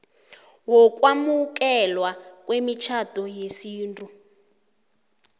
wokwamukelwa kwemitjhado yesintu